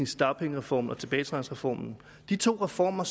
startpengereformen og tilbagetrækningsreformen de to reformer